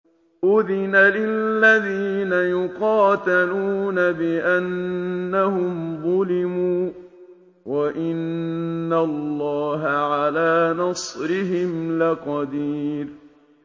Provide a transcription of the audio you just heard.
أُذِنَ لِلَّذِينَ يُقَاتَلُونَ بِأَنَّهُمْ ظُلِمُوا ۚ وَإِنَّ اللَّهَ عَلَىٰ نَصْرِهِمْ لَقَدِيرٌ